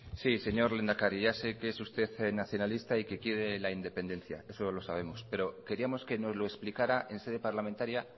sí señor lehendakari ya sé que usted es nacionalista y que quiere la independencia eso lo sabemos pero queríamos que nos lo explicara en sede parlamentaria